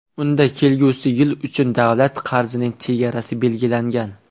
Unda kelgusi yil uchun davlat qarzining chegarasi belgilangan.